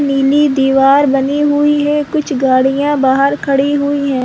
नीली दिवार बनी हुई है कुछ गाड़ियां बाहर खड़ी हुई है।